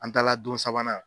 An taala don sabanan.